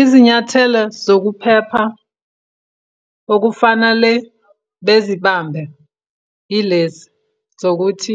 Izinyathelo zokuphepha okufanale bezibambe yilezi, zokuthi